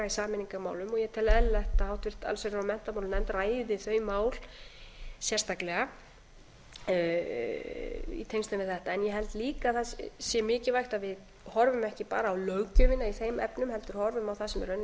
sameiningarmálum og ég tel eðlilegt að háttvirt allsherjar og menntamálanefnd ræði þau mál sérstaklega í tengslum við þetta en ég held líka að það sé mikilvægt að við horfum ekki bara á löggjöfina í þeim efnum heldur horfum á það sem í